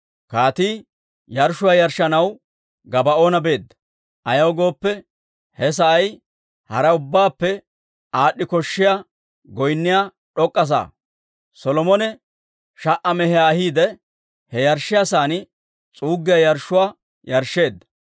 Kaatii yarshshuwaa yarshshanaw Gabaa'oona beedda; ayaw gooppe, he sa'ay hara ubbaappe aad'd'i koshshiyaa goynniyaa d'ok'k'a sa'aa. Solomone sha"a mehiyaa ahiide, he yarshshiyaa sa'aan s'uuggiyaa yarshshuwaa yarshsheedda.